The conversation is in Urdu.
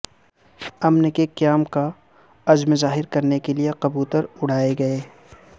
امن کے قیام کا عزم ظاہر کرنے کے لیے کبوتر اڑائے گئے